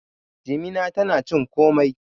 jimina tana cin komai